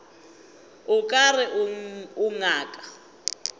o ka re o ngaka